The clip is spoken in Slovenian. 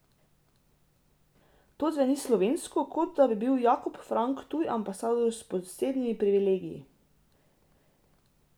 To zveni slovesno, kot da bi bil Jakob Frank tuj ambasador s posebnimi privilegiji.